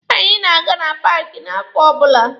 Anyị na-aga na paaki n'afọ ọbụla.